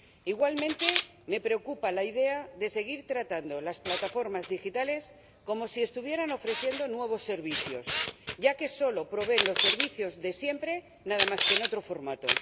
Igualmente, me preocupa la idea de seguir tratando las plataformas digitales como si estuvieran ofreciendo nuevos servicios, ya que solo proveen los servicios de siempre, solo que en otro formato.